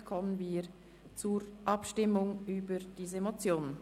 Somit kommen wir zur Abstimmung über diese Motion.